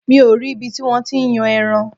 Mi ò rí ibi tí wọ́n ti ń yan ẹran.